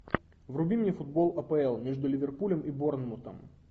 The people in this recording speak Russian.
вруби мне футбол апл между ливерпулем и борнмутом